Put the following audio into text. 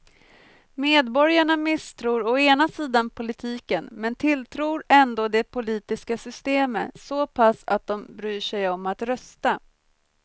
Medborgarna misstror å ena sidan politiken men tilltror ändå det politiska systemet så pass att de bryr sig om att rösta.